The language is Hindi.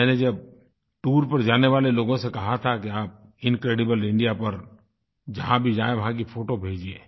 मैंने जब टूर पर जाने वाले लोगों से कहा था कि आप इनक्रेडिबल इंडिया पर जहाँ भी जाएँ वहाँ की फोटो भेजिये